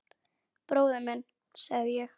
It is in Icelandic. Bróðir minn, sagði ég.